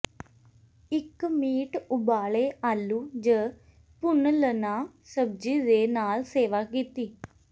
ਇੱਕ ਮੀਟ ਉਬਾਲੇ ਆਲੂ ਜ ਭੁੰਲਨਆ ਸਬਜ਼ੀ ਦੇ ਨਾਲ ਸੇਵਾ ਕੀਤੀ